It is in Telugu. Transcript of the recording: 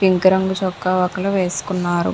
పింక్ రంగు చొక్కా ఒకరు వేసుకున్నారు.